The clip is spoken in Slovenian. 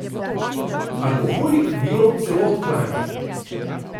Alkoholik vino celo odklanja.